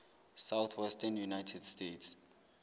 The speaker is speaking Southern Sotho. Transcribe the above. southwestern united states